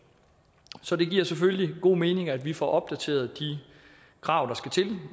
så det giver selvfølgelig god mening at vi får opdateret de krav der skal til